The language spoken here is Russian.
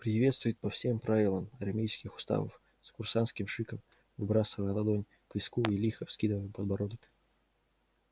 приветствуют по всем правилам армейских уставов с курсантским шиком выбрасывая ладонь к виску и лихо вскидывая подбородок